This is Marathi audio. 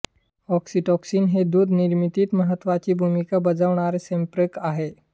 ऑक्सीटॉसिन हे दुध निर्मितीत महत्त्वाची भूमिका बजावणारे संप्रेरक आहे